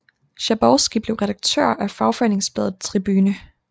Schabowski blev redaktør af fagforeningsbladet Tribüne